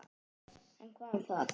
En hvað um það!